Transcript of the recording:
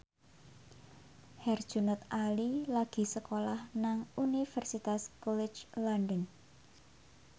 Herjunot Ali lagi sekolah nang Universitas College London